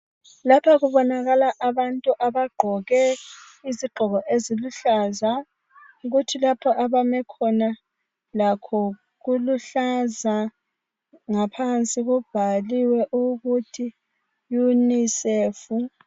Lapha kubonakala abantu abagqoke izigqoko eziluhlaza. Kuthi lapha abame khona lakho kuluhlaza .Ngaphansi kubhaliwe ukuthi "UNICEF "